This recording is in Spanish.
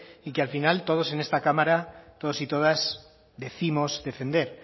y que al final todos en esta cámara todos y todas décimos defender